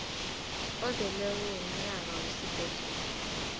ozeleko womnyaka wesibhedlela